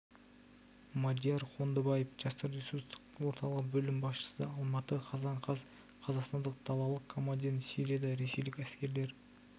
мадияр қондыбаев жастар ресурстық орталығы бөлім басшысы алматы қазан қаз қазақстандық далалық командирін сирияда ресейлік әскерлер